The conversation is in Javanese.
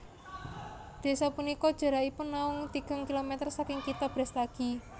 Desa punika jarakipun naung tigang kilometer saking kitha Brastagi